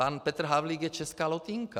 Pan Petr Havlík je Česká Lotynka.